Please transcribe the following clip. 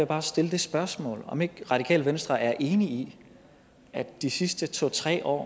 bare stille det spørgsmål om det radikale venstre ikke er enige i at de sidste to tre år